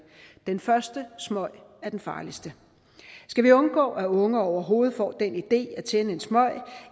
den første smøg er den farligste skal vi undgå at unge overhovedet får den idé at tænde en smøg